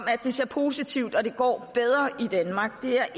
at det ser positivt og det går bedre i danmark det er